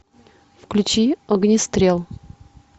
включи огнестрел